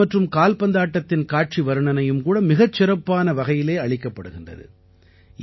tennis மற்றும் கால்பந்தாட்டத்தின் காட்சி வர்ணனையும் கூட மிகச் சிறப்பான வகையிலே அளிக்கப்படுகின்றது